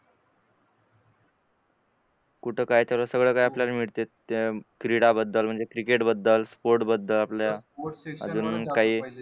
कुठ काय तर सगळं आपल्याला मिळते ते ते क्रीडा बद्दल म्हणजे क्रिकेट बद्दल स्पोर्ट बद्दल आपल्या अजून काही